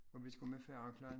Og vi skal med færgen klokken